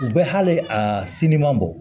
U bɛ hali a si ɲuman bɔ